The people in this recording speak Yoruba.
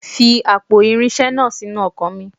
Fi àpò irinṣẹ́ iná sínú ọkọ̀ mi.